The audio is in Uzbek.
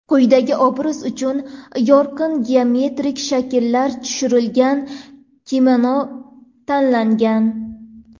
Quyidagi obraz uchun yorqin geometrik shakllar tushirilgan kimono tanlangan.